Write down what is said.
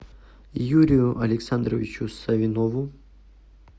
юрию александровичу савинову